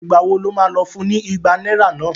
Ìgbà wo lo má lọ fún ní ìgbà náírà náà?